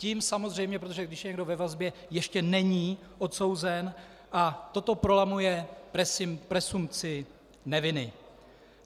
Tím samozřejmě, protože když je někdo ve vazbě, ještě není odsouzen, a toto prolamuje presumpci neviny.